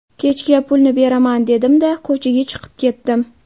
Kechga pulni beraman dedim-da, ko‘chaga chiqib ketdim.